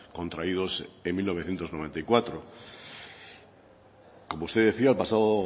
contraídos en mil novecientos noventa y cuatro como usted decía el pasado